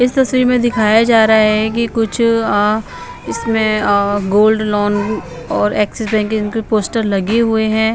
इस तस्वीर में दिखाया जा रहा है कि कुछ अअ इसमें अअ गोल्ड लॉन और एक्सिस बैंक के इनके पोस्टर लगे हुए हैं।